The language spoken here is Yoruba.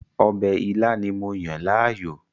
Ọbẹ̀ ilá ni mo yàn láàyò